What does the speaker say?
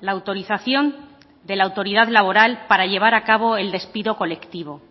la autorización de la autoridad laboral para llevar a cabo el despido colectivo